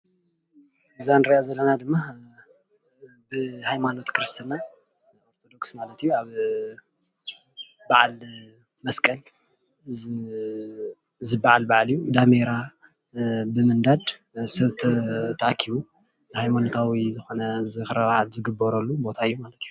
እዛ እንሪኣ ዘለና ድማ ብሃይማኖት ኽርስትና ክርስትና ማለt እያ ኣብ በዓል መስቀል ዝበዓል በዓል እዪ ዳሜራ ብምንዳድ ሰብ ተኣኪቡ ሃይማኖታዊ ዝኾነ ዝኽረ በዓል ዝግበረሉ ቦታ እዩ።